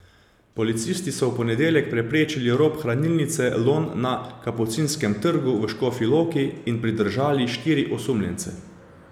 Policisti so v ponedeljek preprečili rop Hranilnice Lon na Kapucinskem trgu v Škofji Loki in pridržali štiri osumljence.